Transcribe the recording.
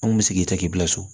An kun bɛ sigi ta k'i bila so